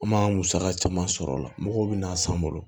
An m'an musaka caman sɔrɔ o la mɔgɔw bɛ na san an bolo